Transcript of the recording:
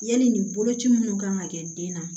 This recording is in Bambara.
Yali nin boloci minnu kan ka kɛ den na